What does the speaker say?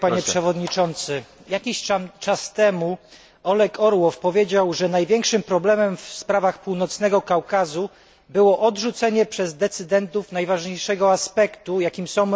Jakiś czas temu Oleg Orłow powiedział, że największym problemem w sprawach Północnego Kaukazu było odrzucenie przez decydentów najważniejszego aspektu, jakim są prawa człowieka.